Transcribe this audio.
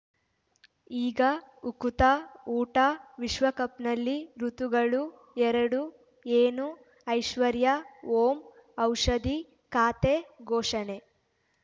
ಈಗ ಉಕುತ ಊಟ ವಿಶ್ವಕಪ್‌ನಲ್ಲಿ ಋತುಗಳು ಎರಡು ಏನು ಐಶ್ವರ್ಯಾ ಓಂ ಔಷಧಿ ಖಾತೆ ಘೋಷಣೆ